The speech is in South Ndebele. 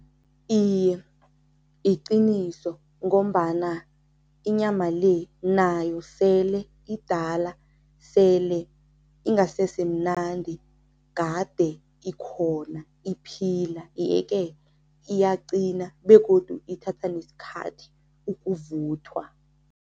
Iye, liqiniso ngombana inyama le nayo sele idala, sele ingasesemnandi, kade ikhona iphila yeke, iyaqina begodu ithatha nesikhathi ukuvuthwa.